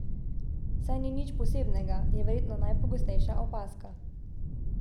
Saj ni nič posebnega, je verjetno najpogostejša opazka.